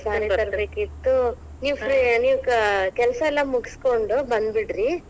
Saree . ನೀವ್ free ನೀವ್ ಕ ನೀವ್ ಕೆಲಸಾ ಎಲ್ಲಾ ಮುಗಿಸ್ಕೊಂಡು ಬಂದ್ಬಿಡ್ರಿ.